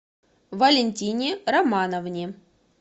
валентине романовне